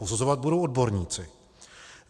Posuzovat budou odborníci.